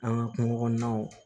An ka kungo kɔnɔnaw